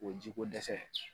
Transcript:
O ye ji ko dɛsɛ ye